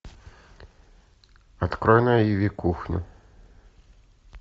открой на иви кухню